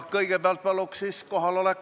Kõigepealt palun kohaloleku kontroll!